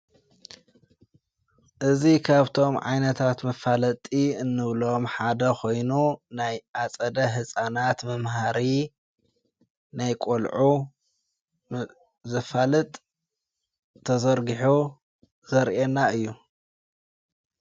እዙ ኻብቶም ዓይነታት ምፋለጢ እንብሎም ሓደ ኾይኑ ናይ ኣጸደ ሕፃናት ምምሃሪ ናይ ቖልዑ ዘፋልጥ ተዘርግሑ ዘርኤና እዩ።